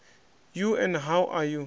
you and how are you